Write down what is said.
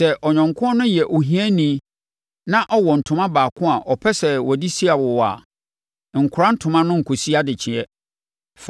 Sɛ ɔyɔnko no yɛ ohiani na ɔwɔ ntoma baako a ɔpɛ sɛ ɔde si wo awowa a, nkora ntoma no nkɔsi adekyeeɛ.